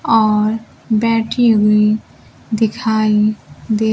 और बैठी हुई दिखाई दे--